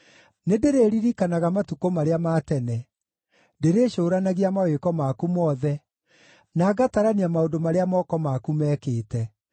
Nĩndĩrĩririkanaga matukũ marĩa ma tene; ndĩrĩcũũranagia mawĩko maku mothe na ngatarania maũndũ marĩa moko maku meekĩte.